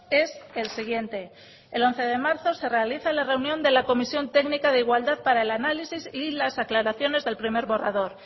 es el siguiente el once de marzo se realiza la reunión de la comisión técnica de igualdad para el análisis y las aclaraciones del primer borrador